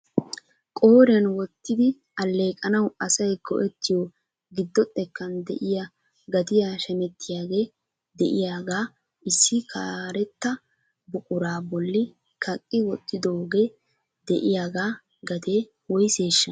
Qooriyan wottidi alleeqanaw asay go"ettiyo giddo xekkan de'iyaa gatiya shametiyaage de'iyaaga issi karetta buquraa bolli kaqqi wottidooge de'iyaaga gatee woysseshsha?